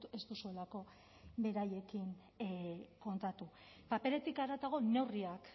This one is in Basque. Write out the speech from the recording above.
ez duzuelako beraiekin kontatu paperetik haratago neurriak